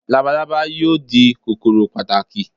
Labalábá yóò di kòkòrò pàtàkì